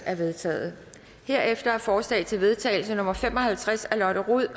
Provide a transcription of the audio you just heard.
er vedtaget herefter er forslag til vedtagelse nummer v fem og halvtreds af lotte rod